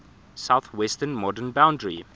southwestern modern boundary